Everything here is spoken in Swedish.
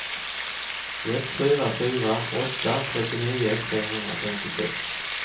ett fyra fyra åtta trettionio femhundrafemtiosex